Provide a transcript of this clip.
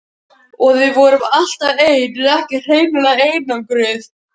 Og við vorum alltaf ein ef ekki hreinlega einangruð.